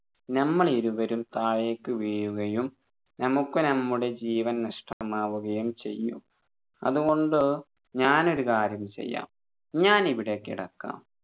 നമ്മളിരുവരും താഴേക്കു വീഴുകയും നമ്മക്ക് നമ്മുടെ ജീവൻ നഷ്ടമാവുകയും ചെയ്യും അതുകൊണ്ട് ഞാൻ ഒരു കാര്യം ചെയ്യാം ഞാൻ ഇവിടെ കിടക്കാം